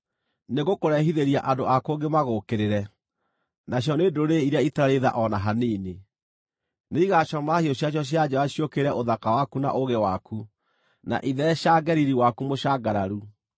nĩngũkũrehithĩria andũ a kũngĩ magũũkĩrĩre, nacio nĩ ndũrĩrĩ iria itarĩ tha o na hanini; nĩigacomora hiũ ciacio cia njora ciũkĩrĩre ũthaka waku na ũũgĩ waku, na itheecange riiri waku mũcangararu.